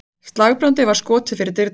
Slagbrandi var skotið fyrir dyrnar.